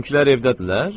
Bizimkilər evdədirlər.